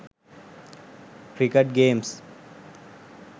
cricket games